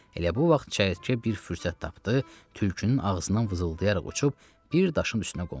Elə bu vaxt çəyirtkə bir fürsət tapdı, tülkünün ağzından vızıldayaraq uçub bir daşın üstünə qondu.